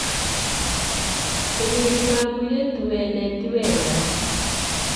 Kũnyarira mũirĩtu wene ti wega